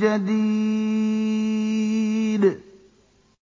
جَدِيدٍ